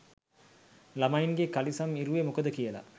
ළමයින්ගෙ කලිසම් ඉරුවෙ මොකද කියලා